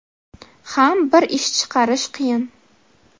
ham bir ish chiqarish qiyin.